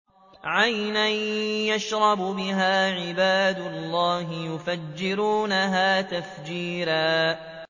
عَيْنًا يَشْرَبُ بِهَا عِبَادُ اللَّهِ يُفَجِّرُونَهَا تَفْجِيرًا